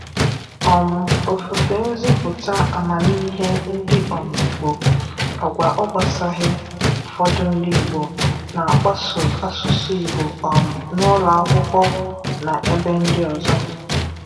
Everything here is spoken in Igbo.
um Ofufe nzipụta amamihe ndị um Igbo, agwa ọ gbasaghị ụfọdụ ndị Igbo na-akpaso asụsụ Igbo um n’ụlọ akwụkwọ na ebe ndị ọzọ.